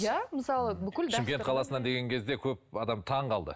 иә мысалы шымкент қаласынан деген кезде көп адам таңғалды